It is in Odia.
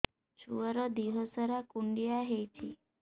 ଛୁଆର୍ ଦିହ ସାରା କୁଣ୍ଡିଆ ହେଇଚି